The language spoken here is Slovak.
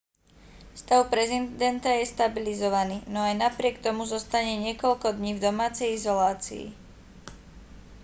stav prezidenta je stabilizovaný no aj napriek tomu zostane niekoľko dní v domácej izolácii